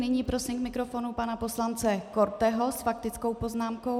Nyní prosím k mikrofonu pana poslance Korteho s faktickou poznámkou.